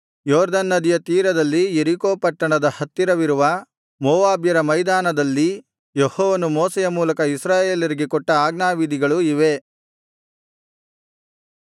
ಯೊರ್ದನ್ ನದಿಯ ತೀರದಲ್ಲಿ ಯೆರಿಕೋ ಪಟ್ಟಣದ ಹತ್ತಿರವಿರುವ ಮೋವಾಬ್ಯರ ಮೈದಾನದಲ್ಲಿ ಯೆಹೋವನು ಮೋಶೆಯ ಮೂಲಕ ಇಸ್ರಾಯೇಲರಿಗೆ ಕೊಟ್ಟ ಆಜ್ಞಾವಿಧಿಗಳು ಇವೇ